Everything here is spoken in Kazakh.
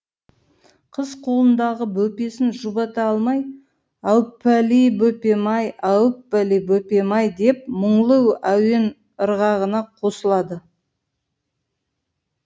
қыз қолындағы бөпесін жұбата алмай әуппәли бөпем ай әуппәли бөпем ай деп мұңлы әуен ырғағына қосылады